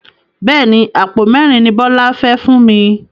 Bẹ́ẹ̀ni, Àpò mẹ́ẹ́rin ni Bọlá fẹ fún mi.